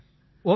okay sir